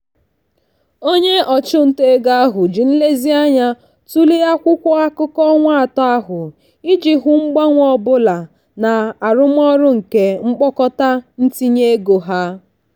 onye ọchụnta ego ahụ ji nlezianya tụle akwụkwọ akụkọ ọnwa atọ ahụ iji hụ mgbanwe ọ bụla na arụmọrụ nke mkpokọta ntinye ego ha.